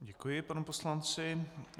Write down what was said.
Děkuji panu poslanci.